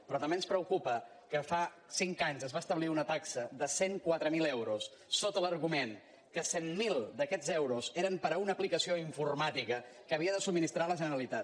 però també ens preocupa que fa cinc anys es va establir una taxa de cent i quatre mil euros sota l’argument que cent miler d’aquests euros eren per a una aplicació informàtica que havia de subministrar la generalitat